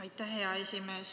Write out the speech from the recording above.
Aitäh, hea esimees!